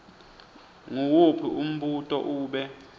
nguwuphi umbuto ube